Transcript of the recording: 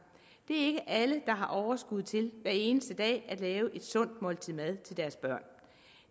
det er ikke alle der har overskud til hver eneste dag at lave et sundt måltid mad til deres børn